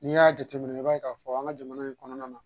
N'i y'a jateminɛ i b'a ye k'a fɔ an ka jamana in kɔnɔna na